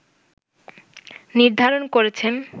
নির্ধারণ করেছেন